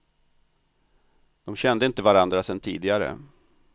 De kände inte varandra sedan tidigare.